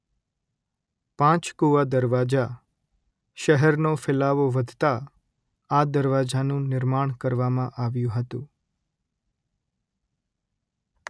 પાંચકુવા દરવાજા - શહેરનો ફેલાવો વધતા આ દરવાજાનું નિર્માણ કરવામાં આવ્યું હતું